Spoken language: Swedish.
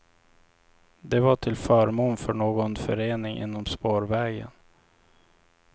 Det var till förmån för någon förening inom spårvägen.